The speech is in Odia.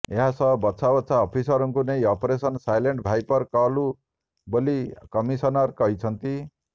ଏହାସହ ବଛା ବଛା ଅଫିସରଙ୍କୁ ନେଇ ଅପରେସନ ସାଇଲେଣ୍ଟ ଭାଇପର କଲୁ ବୋଲି କମିଶନର କହିଛନ୍ତି